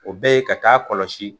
O bɛ yen ka taa kɔlɔsi